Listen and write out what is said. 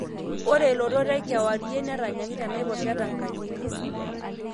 Ore lotot ekewarie netanyaki tenaiposha e Tanganyika.